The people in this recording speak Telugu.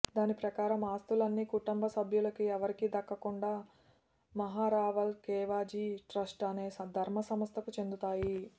దాని ప్రకారం ఆస్తులన్నీ కుటుంబసభ్యులకు ఎవరికీ దక్కకుండా మహారావల్ ఖేవాజీ ట్రస్టు అనే ధర్మసంస్థకు చెందుతాయి